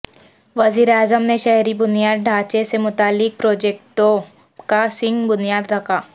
وزیر اعظم نے شہری بنیادی ڈھانچے سے متعلق پروجیکٹوں کا سنگ بنیاد رکھا